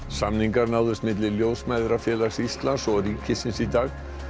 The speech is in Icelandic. samningar náðust milli Ljósmæðrafélags Íslands og ríkisins í dag